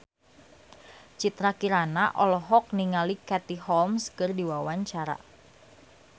Citra Kirana olohok ningali Katie Holmes keur diwawancara